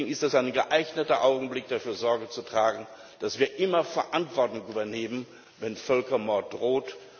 Deswegen ist das ein geeigneter Augenblick, dafür Sorge zu tragen, dass wir immer Verantwortung übernehmen, wenn Völkermord droht.